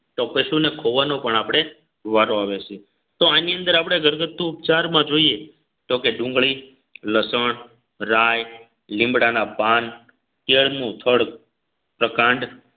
તો પશુ ને ખોવાનો પણ આપણે વારો આવે છે તો આની અંદર આપણે ઘરગથ્થુ ઉપચારમાં જોઈએ તો કે ડુંગળી લસણ રાય લીમડાના પાન કેળનું થડ પ્રકાંડ